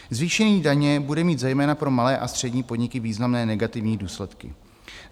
Zvýšení daně bude mít zejména pro malé a střední podniky významné negativní důsledky.